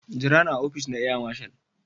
gira ni a opice na Air marshal.